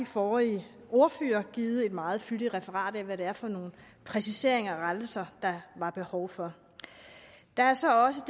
forrige ordførere har givet et meget fyldigt referat af hvad det er for nogle præciseringer og rettelser der var behov for der er så også